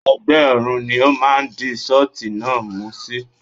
Ẹ̀gbẹ́ ọrùn ni ó máa di ṣọ́ọ̀tì náà mú sí.